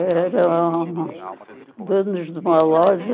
Eram donos de uma loja.